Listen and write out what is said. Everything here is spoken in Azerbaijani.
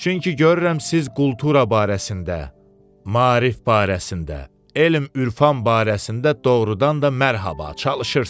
Çünki görürəm siz kultura barəsində, maarif barəsində, elm-ürfan barəsində doğrudan da mərhaba çalışırsız.